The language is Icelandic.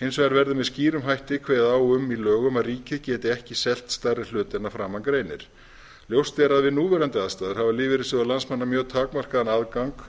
hins vegar verði með skýrum hætti kveðið á um í lögum að ríkið geti ekki selt stærri hlut en að framan greinir ljóst er að við núverandi aðstæður hafa lífeyrissjóðir landsmanna mjög takmarkaðan aðgang